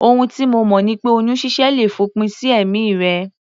Ohun tí mo mọ̀ ni pé oyún ṣíṣẹ́ le fòpin sí ẹ̀mí rẹ